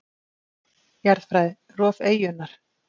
Jarðfræði: Rof eyjunnar.